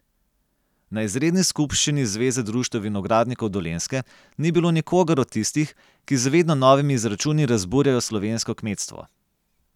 Na izredni skupščini Zveze društev vinogradnikov Dolenjske ni bilo nikogar od tistih, ki z vedno novimi izračuni razburjajo slovensko kmetstvo.